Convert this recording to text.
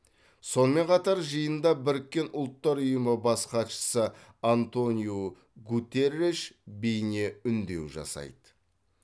сонымен қатар жиында біріккен ұлттар ұйымы бас хатшысы антониу гутерреш бейне үндеу жасайды